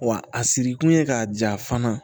Wa a siri kun ye k'a ja fana